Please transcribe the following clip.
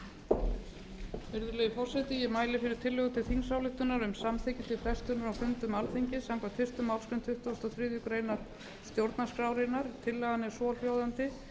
virðulegi forseti ég mæli fyrir tillögu til þingsályktunar um samþykki til frestunar á fundum alþingis samkvæmt fyrstu málsgrein tuttugustu og þriðju grein stjórnarskrárinnar tillagan er svohljóðandi